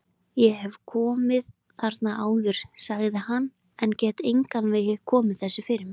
Ég hef komið þarna áður sagði hann, en get engan veginn komið þessu fyrir mig